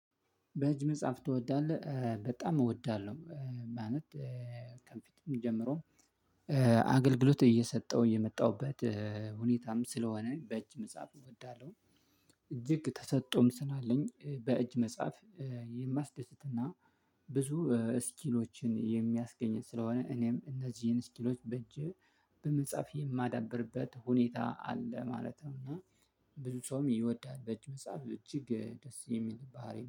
በህጅ መጽሐፍ ትወዳለህ በጣም እወዳለሁ ማለት ከፊትም ጀምሮ አገልግሎት እየሰጠው እየመጣሁበት ሁኔታም ስለሆነ በእጅ መጻፍ እወዳለሁ። እጅግ ተሰጥቶም ስን አለኝ በእጅ መጽሐፍ የማስደስትና ብዙ ስኪሎችን የሚያስገኝ ስለሆነ እኔም እነዚህን ስኪሎች በእጅህ በመጻፍ የማዳብርበት ሁኔታ አለ ማለት ነው። እና ብዙ ሰውም ይወዳል በጅ መጽሐፍ እጅግ ደስ የሚል ባህሪ